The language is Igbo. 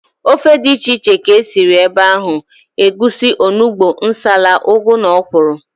Ofe dị iche iche ka e siri ebe ahụ, egusi, onugbu, nsala, ụgụ na ọkwụrụ